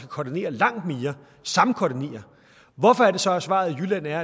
koordinere langt mere samkoordinere hvorfor er det så at svaret i jylland er